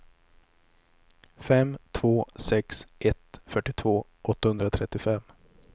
fem två sex ett fyrtiotvå åttahundratrettiofem